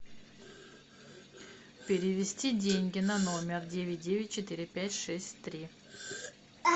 перевести деньги на номер девять девять четыре пять шесть три